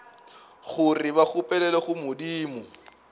gore ba nkgopelele go modimo